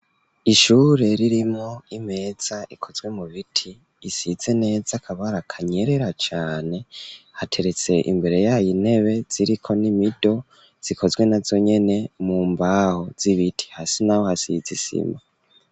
Ishure ririmwo imeza ikozwe mu biti isize neza akabara kanyerera cane hateretse imbere yayo intebe ziriko n'imido zikozwe nazonyene mu mbaho z'ibiti hasi naho hasize isima.